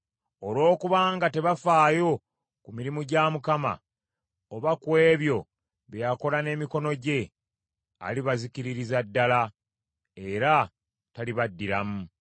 Olwokubanga tebafaayo ku mirimu gya Mukama , oba ku ebyo bye yakola n’emikono gye, alibazikiririza ddala, era talibaddiramu.